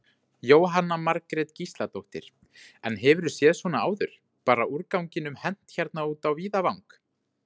Jóhanna Margrét Gísladóttir: En hefurðu séð svona áður, bara úrganginum hent hérna út á víðavang?